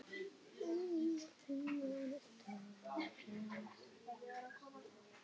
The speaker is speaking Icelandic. Ég fékk oft vænar bleikjur þar, þegar ég var strákur